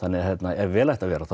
ef vel ætti að vera